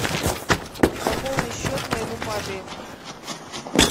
пополни счет моему папе